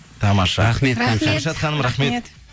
тамаша рахмет